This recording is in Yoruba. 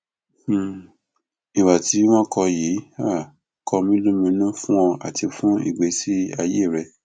um ìhà tí wọn kọ yìí um kọ mí lóminú fún ọ àti fún ìgbésí ayé rẹ